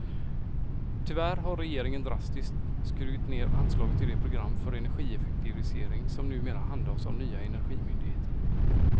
Tyvärr har regeringen drastiskt skurit ned anslaget till det program för energieffektivisering som numera handhas av nya energimyndigheten.